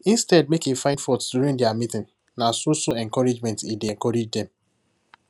instead make he find fault during their meeting nah so so encouragement he dey encourage them